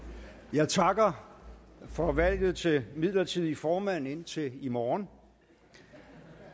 jeg takker for valget til midlertidig formand indtil i morgen